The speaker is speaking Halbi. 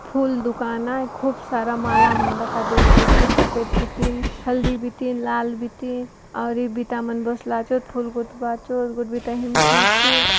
फूल दुकान आय खूब सारा माला मन दखा देयसिआचे सफेद बीतींन हल्दी बीतींन लाल बीतीं और ए बिता मन बसलाचोत फूल गूथ बाचोत गोटे बिता हिंडसिआछे।